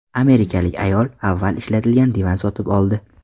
Amerikalik ayol avval ishlatilgan divan sotib oldi.